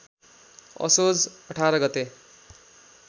असोज १८ गते